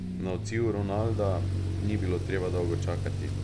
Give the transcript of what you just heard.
Na odziv Ronalda ni bilo treba dolgo čakati.